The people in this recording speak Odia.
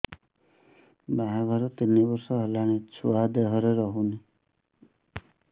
ବାହାଘର ତିନି ବର୍ଷ ହେଲାଣି ଛୁଆ ଦେହରେ ରହୁନି